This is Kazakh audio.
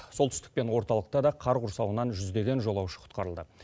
солтүстік пен орталықта да қар құрсауынан жүздеген жолаушы құтқарылды